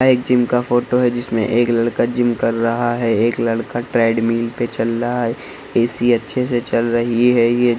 यह एक जिम का फोटो है जिसमें एक लड़का जिम कर रहा है एक लड़का ट्रेडमिल पे चल रहा है ऐ.सी. अच्छे से चल रही है ये |